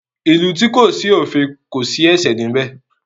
Ìlú tí kò sí òfin kò sí ẹ̀ṣẹ̀ níbẹ̀.